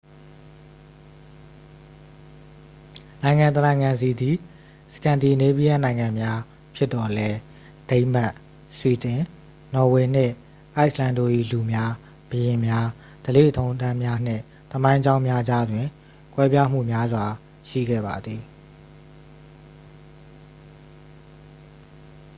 "နိုင်ငံတစ်နိုင်ငံစီသည် "စကန်ဒီနေးဗီးယန်းနိုင်ငံများ" ဖြစ်သော်လည်း၊ ဒိန်းမတ်၊ ဆွီဒင်၊ နော်ဝေနှင့် အိုက်စ်လန်းတို့၏ လူများ၊ ဘုရင်များ၊ ဓလေ့ထုံးတမ်းများနှင့် သမိုင်းကြောင်းများကြားတွင် ကွဲပြားမှုများစွာရှိခဲ့ပါသည်။